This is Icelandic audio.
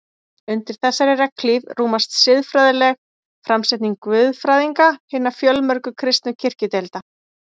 Undir þessari regnhlíf rúmast siðfræðileg framsetning guðfræðinga hinna fjölmörgu kristnu kirkjudeilda.